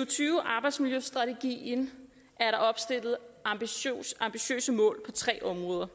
og tyve arbejdsmiljøstrategien er der opstillet ambitiøse mål på tre områder